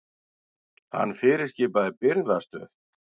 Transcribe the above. Hann fyrirskipaði birgðastöð